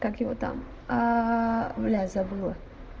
как его там аа блять забыла